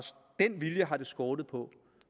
skortet på